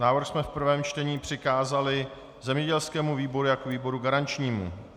Návrh jsme v prvém čtení přikázali zemědělskému výboru jako výboru garančnímu.